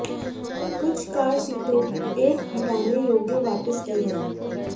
कुछ कार सीटों एक हटाने योग्य वापस की है